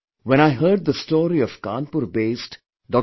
When I heard the story of Kanpur based Dr